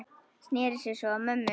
Sneri sér svo að mömmu.